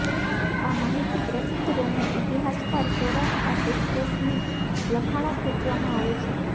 આ માહિતી પ્રસિદ્ધ રોમન ઇતિહાસકાર સોરાના એફેસસની લખાણો ખેંચવામાં આવે છે